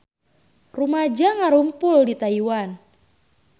Rumaja ngarumpul di Taiwan